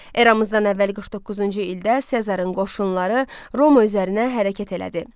Eramızdan əvvəl 49-cu ildə Sezarın qoşunları Roma üzərinə hərəkət elədi.